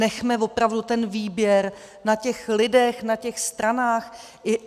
Nechme opravdu ten výběr na těch lidech, na těch stranách.